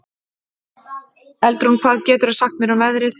Eldrún, hvað geturðu sagt mér um veðrið?